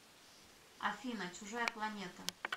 афина чужая планета